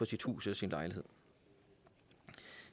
sit hus eller sin lejlighed